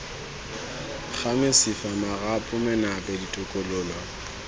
ga mesifa marapo menape ditokololo